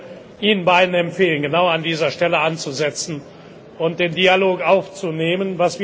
Ich würde Ihnen beiden empfehlen, genau an dieser Stelle anzusetzen und den Dialog aufzunehmen.